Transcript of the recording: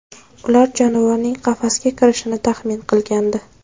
Ular jonivorning qafasga kirishini taxmin qilgandi.